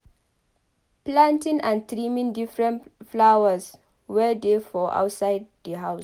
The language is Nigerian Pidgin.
Planting and trimming different flowers wey dey for outside di house